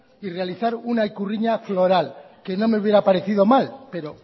y realizar una ikurriña floral que no me hubiera parecido mal pero